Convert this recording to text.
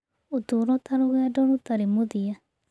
Ũtũũro ta rũgendo rũtarĩ mũthia.